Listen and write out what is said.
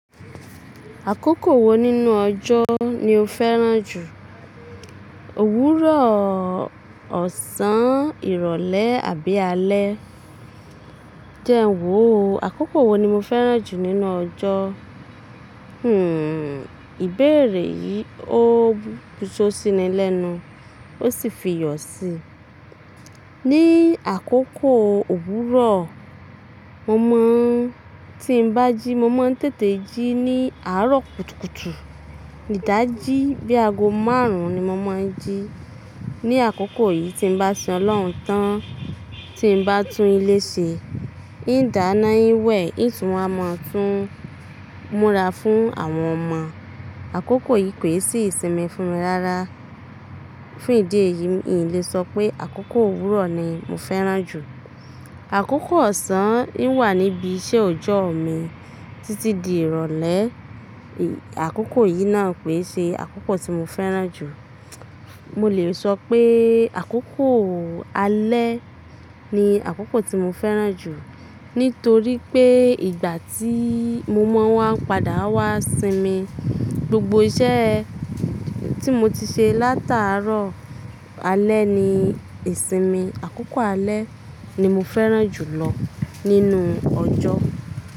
Àkókò wo nínú ọjọ́ ni o fẹ́ràn jù? Òwúrọ̀, ọ̀sán, ìrọ̀lẹ́ àbí alẹ́? Jẹ́ ń wò ó. Àkókò wo ni mo fẹ́ràn jù nínú ọjọ́? Hmm ìbéèrè yìí ó búso sí mi lẹ́nu, ó sì fi iyọ̀ síi. Ni àkókò Òwúrọ̀, mo mọ̀ tí ń bá jí mo máa ń tètè jí ní àárọ̀ kùtùkùtù. Idájí bíi aago márùn-ún ni mo máa ń jí. Ni àkókò yìí tí ń bá sin Ọlọ́run tán tí ń bá tún ilé ṣe, iń dáná iń wẹ̀, iń tún wá máa tún múra fún àwọn ọmọ. Àkókò yìí koi sí ìsinmi fún mi rárá. Fún ìdí èyí, mi o lè sọ pé àkókò Òwúrọ̀ ni mo fẹ́ràn jù. Àkókò ọ̀sán iń wà níbi iṣẹ́ ọjọ́ mi títí di ìrọ̀lẹ́. Àkókò yìí náà koi ṣe àkókò tí mo fẹ́ràn jù. Mo lè sọ pé àkókò alẹ́ ni àkókò tí mo fẹ́ràn jù. Nítorí pé ìgbà tí mo mọ̀ wọ́n á ń padà wá sin mi, gbogbo iṣẹ́ tí mo ti ṣe látàárọ̀ alẹ́ ni ìsinmin Àkókò alẹ́ ni mo fẹ́ràn jù lọ nínú ọjọ́.